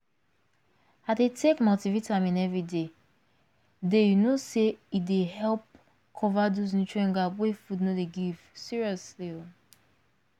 i dey take multivitamin every day day you know say e dey help cover those nutrient gap wey food no dey give seriously